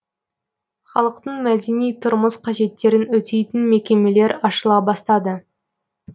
халықтың мәдени тұрмыс қажеттерін өтейтін мекемелер ашыла бастады